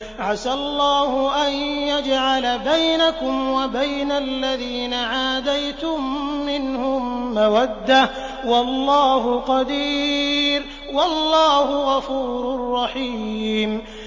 ۞ عَسَى اللَّهُ أَن يَجْعَلَ بَيْنَكُمْ وَبَيْنَ الَّذِينَ عَادَيْتُم مِّنْهُم مَّوَدَّةً ۚ وَاللَّهُ قَدِيرٌ ۚ وَاللَّهُ غَفُورٌ رَّحِيمٌ